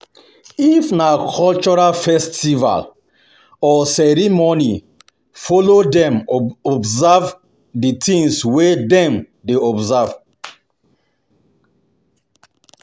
If na cultural festival or ceremony follow them observe di things wey dem dey observe